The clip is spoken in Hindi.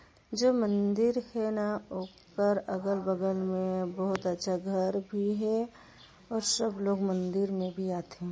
जो मंदिर हे न ओकर अगल बगल में बहुत अच्छा घर भी है और सब लोग मंदिर में भी आथे।